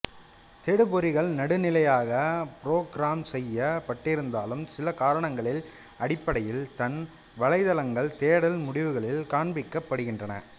தேடு பொறிகள் நடுநிலையாக புரோக்ராம் செய்ய பட்டிருந்தாலும் சில காரணங்களின் அடிப்படையில் தான் வலைதளங்கள் தேடல் முடிவுகளில் காண்பிக்கப்படுகின்றன